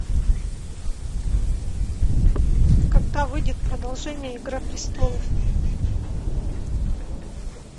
когда выйдет продолжение игра престолов